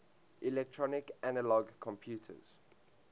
electronic analog computers